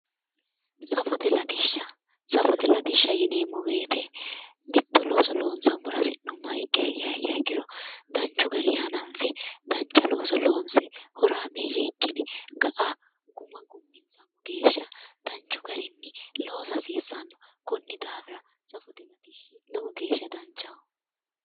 Safote Latisha safote Latisha yineemmo woyiite mitto looso lonsaammora hasi'nummoha ikkiha ikkiro danchu gari hananfe dancha looso loonse horameeyye ikkine ga'a guma gumminsammo geeshsha danchu garinni loosa hasiissanno konni daafira safote latishshi lowo geeshsha danchaho